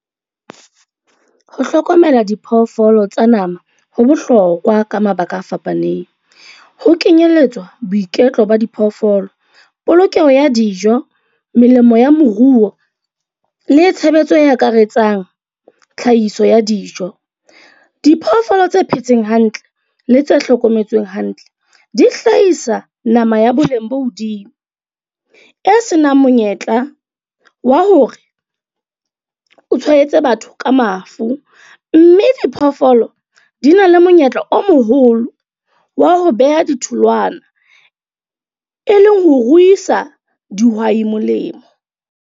Ho hlokomela diphoofolo tsa nama, ho bohlokwa ka mabaka a fapaneng. Ho kenyelletswa boiketlo ba diphoofolo, polokeho ya dijo, melemo ya moruo le tshebetso e akaretsang tlhahiso ya dijo. Diphoofolo tse phetseng hantle le tse hlokometswe hantle di hlahisa nama ya boleng bo hodimo, e senang monyetla wa hore o tshwanetse batho ka mafu. Mme diphoofolo di na le monyetla o moholo wa ho beha ditholwana, e leng ho ruisa dihwai molemo.